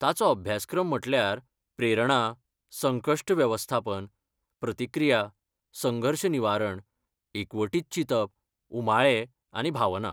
ताचो अभ्यासक्रम म्हटल्यार प्रेरणा, संकश्ट वेवस्थापन, प्रतिक्रिया, संघर्श निवारण, एकवटीत चिंतप, उमाळे आनी भावना.